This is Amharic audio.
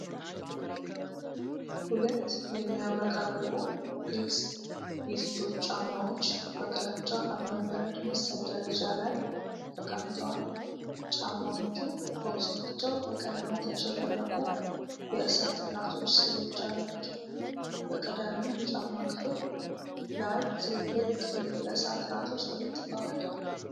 ሁለት የሚያብረቀርቁ ግልጽ የሴቶች ጫማዎች በግራጫ እብነበረድ መሰል ደረጃ ላይ ተቀምጠዋል። ጫማዎቹ በውስጣቸው በቀለማት ያሸበረቁ የእሳት እራቶች ስዕሎች አሏቸው። በቀዳሚው የጫማ ክፍል ላይ ትልልቅ ቀይ የእሳት እራቶች ተለጥፈዋል።